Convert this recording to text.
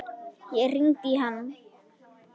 Ég hringdi í hann.